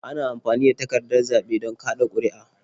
Ana amfani da takardar zaɓe don kaɗa ƙuri'a.